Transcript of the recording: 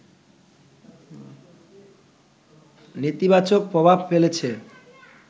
নেতিবাচক প্রভাব ফেলেছে